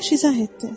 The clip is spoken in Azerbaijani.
Əyyaş izah etdi.